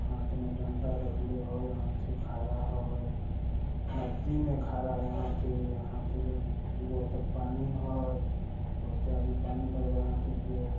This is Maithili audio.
हाथ में डंटा रखले होय। हाथी खड़ा होय। नदी में खड़ा है हाथी। हाथी के गोर तक पानी है। ओते आदमी हाथी के।